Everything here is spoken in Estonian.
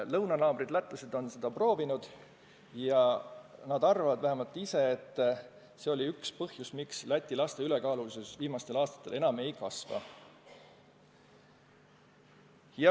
Lõunanaabrid lätlased on seda proovinud ja nad arvavad, et see on üks põhjus, miks Läti laste ülekaalulisus viimastel aastatel enam pole kasvanud.